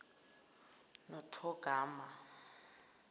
nothogarma